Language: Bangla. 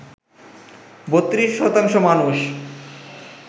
৩২ শতাংশ মানুষ